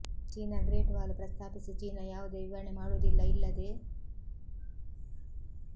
China great wall ಪ್ರಸ್ತಾಪಿಸಿ China ಯಾವುದೇ ವಿವರಣೆ ಮಾಡುವುದಿಲ್ಲ ಇಲ್ಲದೆ